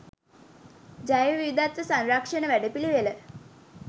ජෛව විවිධත්ව සංරක්ෂණ වැඩපිළිවෙළ